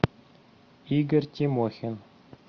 игорь тимохин